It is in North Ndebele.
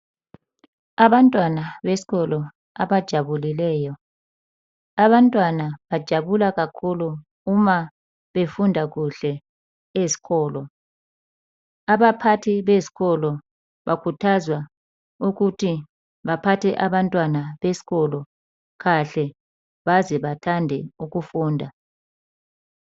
Abantwana besikolo abajabulileyo, abanywana bajabula kakhulu uma befunda kuhle ezikolo. Abaphathi bezikolo bakhuthazwa ukuthi baphathe abantwana besikolo kahle baze bathande ukufunda.